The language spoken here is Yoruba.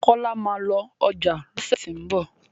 kola má lọ ọjà lọsẹ ti n bọ